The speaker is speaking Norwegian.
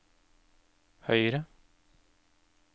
høyre